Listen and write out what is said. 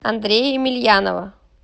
андрея емельянова